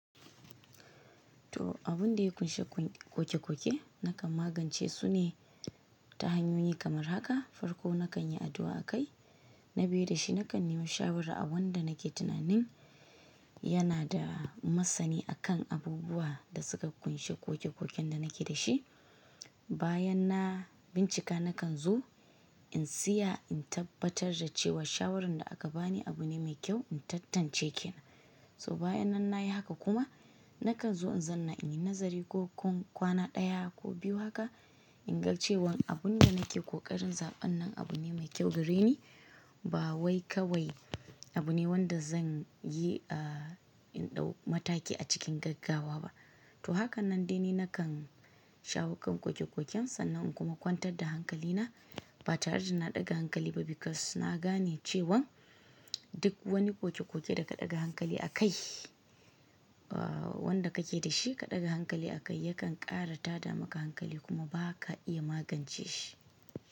To abun da ya ƙunshi ƙoƙe-ƙoƙe nakan magance su ne ta hanyoyi kamar haka. Farko nakan yi addu'a a kai, na biyu da shi nakan yiwo shawara a wanda nake tunanin yana da masani akan abubuwa da suka ƙunshi ƙoƙe-ƙoƙen da nake da shi. Bayan na bincika nakan zo in tsaya in tabbatar da cewa shawaran da aka bani abu ne mai kyau, in tattance ke. So bayan nan na yi haka kuma nakan zo in zanna in yi nazari ko kwana ɗaya ko biyu haka in ga cewan abun da nake ƙoƙarin zaɓan nan abu ne mai kyau gare ni ba wai kawai abu ne wanda zan yi a in ɗau mataki a cikin gaggawa ba. To haka nan dai ni nakan shawo kan ƙoƙe-ƙoƙen sannan in kuma kwantar da hankali na ba tare da na ɗaga hankali ba because na gane cewan duk wani ƙoƙe-ƙoƙe da ka ɗaga hankali a kai wanda kake da shi ka ɗaga hankali a kai yakan ƙara tada maka hankali kuma ba ka iya magance shi.